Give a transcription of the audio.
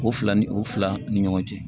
O fila ni o fila ni ɲɔgɔn cɛ